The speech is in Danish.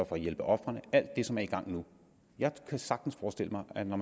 for at hjælpe ofrene alt det som er i gang nu jeg kan sagtens forestille mig at når